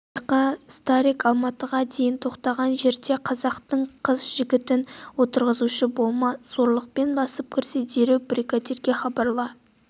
байқа старик алматыға дейін тоқтаған жерде қазақтың қыз-жігітін отырғызушы болма зорлықпен басып кірсе дереу бригадирге хабарла